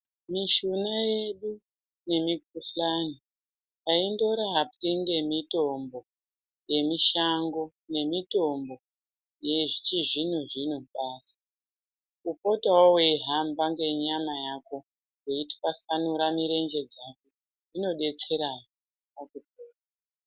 Mishuna yedu nemikuhlani aindorapwi nemitombo yemushango ngemitombo yechizvino zvino basi kupotao weihamba ngenyqmq yako weitwasanura mirenje dzako zvinodetserahe.